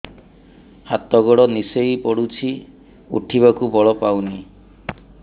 ହାତ ଗୋଡ ନିସେଇ ପଡୁଛି ଉଠିବାକୁ ବଳ ପାଉନି